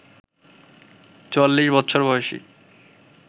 ৪৪ বছর বয়সী